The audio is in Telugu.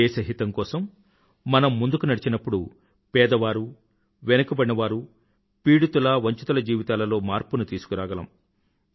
దేశహితం కోసం మనం ముందుకు నడిచినప్పుడు పేదవారు వెనుకబడినవారు పీడితులవంచితుల జీవితాలలో మార్పుని తీసుకురాగలము